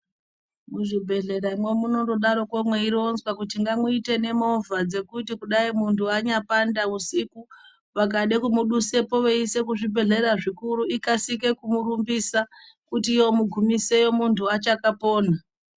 Muzvibhehleramwo munondodaroko mweironzwa kuti ngamuite nemovha dzekuti kudai muntu anyapanda usiku vakada kumudusepo kumuisa kuzvibhehlera zvikuru ikasike kumurumbisa kuti yomugumisa muntu achakaapona.